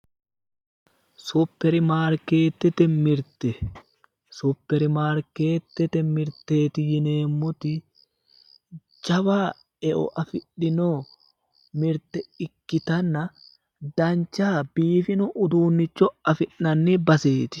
Superimaarkeetete mirte, superimaarkeetete mirteeti yineemmoti jawa eo afidhinno mirte ikkitanna dancha biifino uduunnicho afi'nanni baseeti.